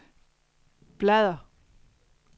bladr